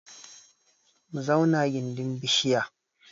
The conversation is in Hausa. Mu zauna gindin bishiya